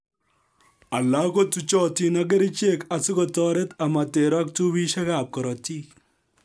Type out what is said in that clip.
Alak ko tuchotin ak kerichek asikotoret amoterok tubisiek ab korotik